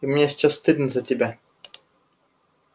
и мне сейчас стыдно за тебя